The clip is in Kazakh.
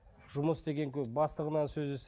жұмыс деген көп бастығынан сөз естейді